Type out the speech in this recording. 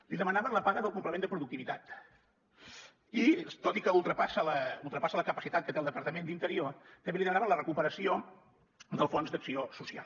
li demanaven la paga del complement de productivitat i tot i que ultrapassa la capacitat que té el departament d’interior també li demanaven la recuperació del fons d’acció social